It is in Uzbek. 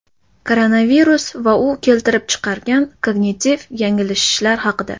Koronavirus va u keltirib chiqargan kognitiv yanglishishlar haqida .